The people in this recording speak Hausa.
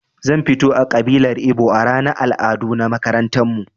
Zan fito a ƙabilar ibo a ranar al'adu na makarantarmu